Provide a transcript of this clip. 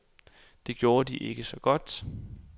Det gjorde de ikke så godt.